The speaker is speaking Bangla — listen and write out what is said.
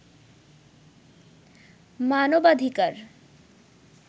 মানবাধিকার